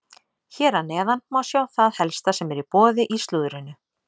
Hér að neðan má sjá það helsta sem er í boði í slúðrinu.